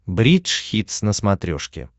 бридж хитс на смотрешке